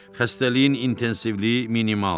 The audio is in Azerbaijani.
Xəstəliyin intensivliyi minimaldır.